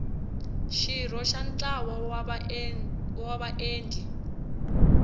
xirho xa ntlawa wa vaendli